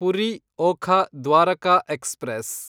Puri Okha Dwarka express